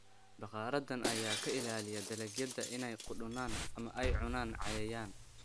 Bakhaaradan ayaa ka ilaaliya dalagyada inay qudhunaan ama ay cunaan cayayaan.